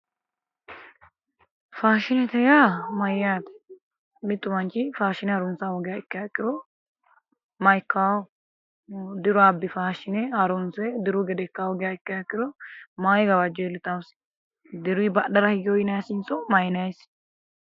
Faashinete yaa mayyaate mittu manchi faashine harunsaaha ikkiha ikkiro ma'ikkawo diru abbi faashine harunse diru gede ikka hoogiha ikkiha ikkiha ikkiro mayi gawajjo iillitawosi diruyi badhera higewo yinayisinso mayinayisi